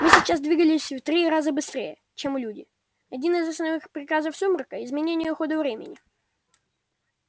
мы сейчас двигались раза в три быстрее чем люди один из основных приказов сумрака изменение хода времени